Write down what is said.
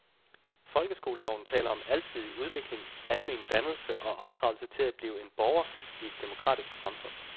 Folkeskoleloven taler om alsidig udvikling, almen dannelse og opdragelse til at blive borger i et demokratisk samfund.